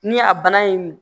Ni a bana ye mun